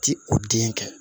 Ti o den kɛ